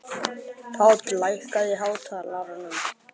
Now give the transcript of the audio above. Páll, lækkaðu í hátalaranum.